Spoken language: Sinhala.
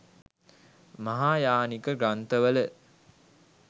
මහායානික ග්‍රන්ථවල